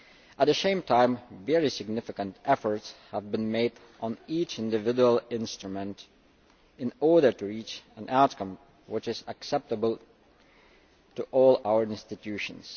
At the same time, very significant efforts have been made on each individual instrument in order to reach an outcome which is acceptable to all our institutions.